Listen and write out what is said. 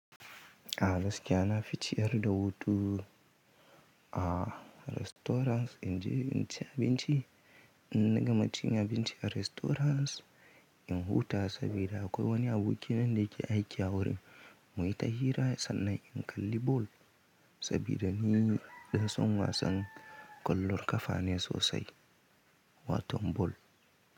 A gas kiyana ficiyar da hutu a restaurants in ci abinci, in na gama cin abinci a restaurants in huta sabida akwai wani aboki nan da ke aiki a wurin. Mu yi ta hira sannan in kalli ball sabida ni ɗan son wasan kwallon kafa ne sosai, watan ball.